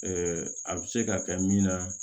a bɛ se ka kɛ min na